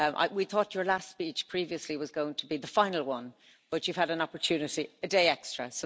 We thought your last speech previously was going to be the final one, but you've had an opportunity a day extra.